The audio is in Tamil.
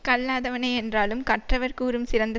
கல்லாதவனே என்றாலும் கற்றவர் கூறும் சிறந்த